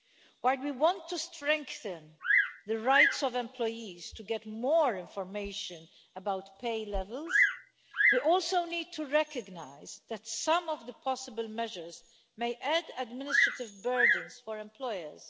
While we want to strengthen the rights of employees to get more information about pay levels, we also need to recognise that some of the possible measures may add administrative burdens for employers.